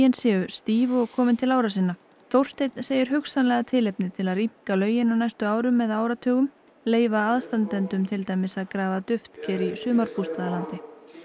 séu stíf og komin til ára sinna Þórsteinn segir hugsanlega tilefni til að rýmka lögin á næstu árum eða áratugum leyfa aðstandendum til dæmis að grafa duftker í sumarbústaðalandi